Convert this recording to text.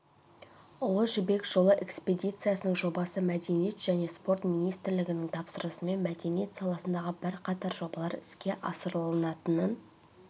ұлы жібек жолы экспедициясының жобасы мәдениет және спорт министрлігінің тапсырысымен мәдениет саласындағы бірқатар жобалар іске асырылатын